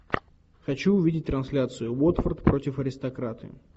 хочу увидеть трансляцию уотфорд против аристократы